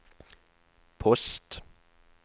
post